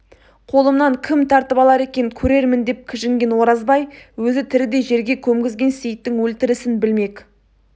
қолымнан кім тартып алар екен көрермін деп кіжінген оразбай өзі тірідей жерге көмгізген сейітің өлтірісін білмек